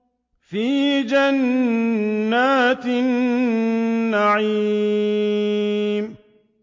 فِي جَنَّاتِ النَّعِيمِ